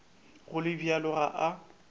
go le bjalo ga a